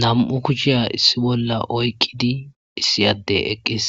Nam'u kucshiya issi bolla oykkidi issiyadde eqqis